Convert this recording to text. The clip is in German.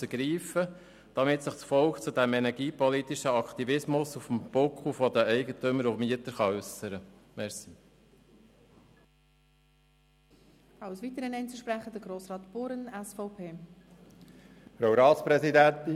Diese sind sehr schlecht isoliert, aber ich musste zuerst einmal die Tierschutzvorschrift im Stall erfüllen.